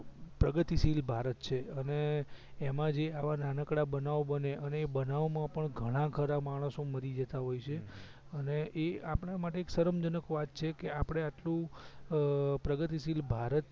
પ્રગતિશીલ ભારત છે અને એમાં જે આવા નાનકડા બનાવ બને અને એ બનાવ માં પણ ઘણા ખરા માણસો મરી જતાં હોય છે હમ અને એ આપડા માટે એ શરમજનક વાત છે કે આપડે આટલું પ્રગતિશીલ ભારત